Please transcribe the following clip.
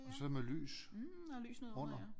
Og så med lys under